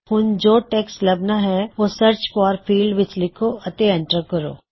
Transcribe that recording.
ਹੁਣ ਜੋ ਟੈਕ੍ਸਟ ਲੱਭਣਾ ਹੈ ਓਹ ਸਰਚ ਫੌਰ ਫੀਲ੍ਡ ਵਿੱਚ ਲਿਖੋ ਅਤੇ ਐਂਟਰ ਕਰੋ